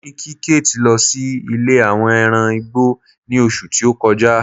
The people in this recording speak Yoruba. mo ni kí kate lo sí ilè àwọn ẹran igbó ni oṣù ti o kọjá